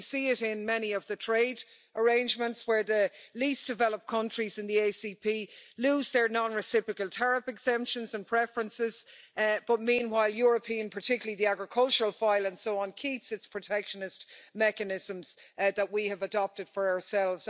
We see it in many of the trade arrangements, where the least developed countries in the ACP lose their non reciprocal tariff exemptions and preferences, but meanwhile European, particularly the agricultural file and so on, keeps its protectionist mechanisms that we have adopted for ourselves.